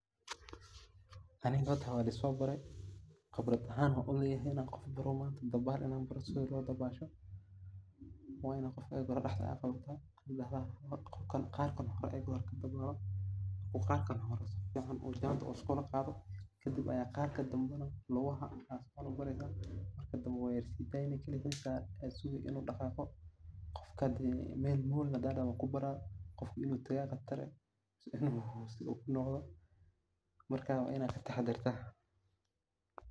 Aniga horta waa laiso bare, khibraad ahaan waan u leyahay sidha loo dabasho, qof wan baari kara ,waina qofka daxda aad qawata ee qarkan hore uu qarkan hore u sifican u kalaqado ,kadib ayaa qaarka danbana lugaha qawanesa. Kadibna waa yara sideyni kaligis ayaa yara sugi inuu dhaqaqo ,qofka hadad dahdho meel mool wan kubaraa inu tagaa aa qatar ah ama dinto, marka waa inaad kataxa darta.